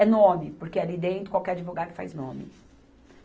É nome, porque ali dentro qualquer advogado faz nome.